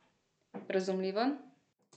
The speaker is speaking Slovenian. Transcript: Razumljivo?